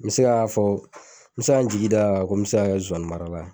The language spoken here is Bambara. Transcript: N bɛ se ka fɔ n bɛ se ka n jigi d'a kan ko n bɛ se ka kɛ zozani mararala ye.